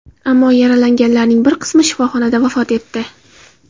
Ammo yaralanganlarning bir qismi shifoxonada vafot etdi.